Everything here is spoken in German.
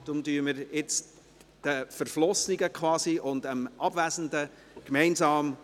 Deshalb gratulieren wir den quasi Verflossenen und dem Abwesenden gemeinsam: